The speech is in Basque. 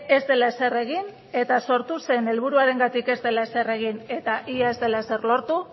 ez dela ezer egin eta sortu zen helburuarengatik ez dela ezer egin eta ia ez dela ezer lortu